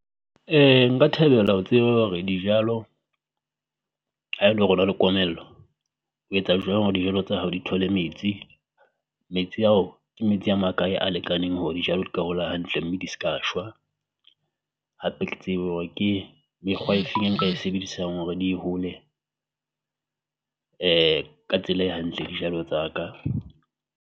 [um Nka thabela ho tseba hore dijalo ha e le hore ho na la komello, ho etsa jwang hore dijalo tsa hao di thole metsi? Metsi ao, ke metsi a makae a lekaneng hore dijalo ka hola hantle mme di ska shwa? Hape ke tsebe hore ke mekgwa e feng e nka e sebedisang hore di hole ka tsela e hantle dijalo tsa ka.